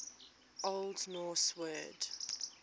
old norse word